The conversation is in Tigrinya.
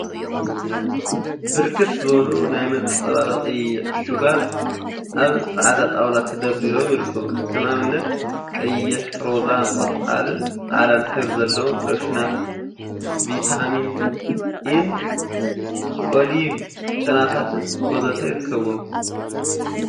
ብርክት ዝበሉ ናይ መፀባበቂ ዕሹጋት አብ ፃዕዳ ጣውላ ተደርዲሮም ይርከቡ፡፡ ከም አብነት ቀይሕ፣ ሮዛ፣ ቆፃልን ፃዕዳን ሕብሪ ዘለዎም ሎሽናት፣ ቪታሚን ኢን ኦሊቭ ጨናታትን ወዘተ ይርከቡዎም፡፡